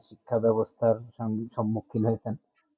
শিক্ষা বেবস্তা সমুখহী হয়েছেন